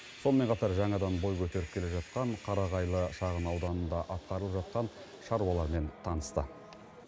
сонымен қатар жаңадан бой көтеріп келе жатқан қарағайлы шағынауданындағы атқарылып жатқан шаруалармен танысты